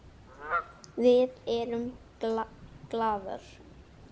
Við erum glaðar.